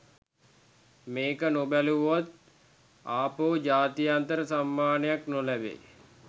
මේක නොබැලුවොත් ආපහු ජාත්‍යන්තර සම්මානයක් නොලැබෙ